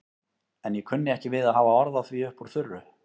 En ég kunni ekki við að hafa orð á því upp úr þurru.